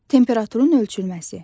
Temperaturun ölçülməsi.